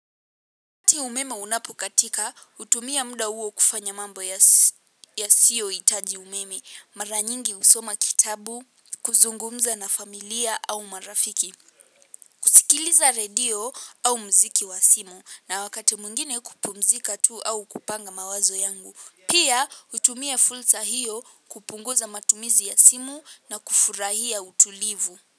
Wakati umeme unapokatika, hutumia muda huo kufanya mambo yasiyohitaji umeme, mara nyingi husoma kitabu, kuzungumza na familia au marafiki. Sikiliza redio au muziki wa simu na wakati mwingine kupumzika tu au kupanga mawazo yangu. Pia hutumia fursa hio kupunguza matumizi ya simu na kufurahia utulivu.